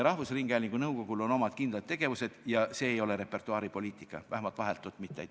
Rahvusringhäälingu nõukogul on oma kindlad tegevused ja nende hulka ei kuulu repertuaaripoliitika, vähemalt vahetult mitte.